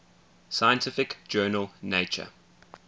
scientific journal nature